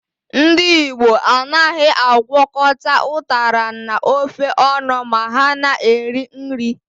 Ndị Igbo anaghị agwọkọta ụtara na ofe ọnụ ma ha na-eri nri.